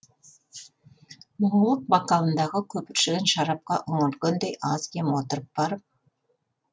мұңлық бокалындағы көпіршіген шарапқа үңілгендей аз кем отырып барып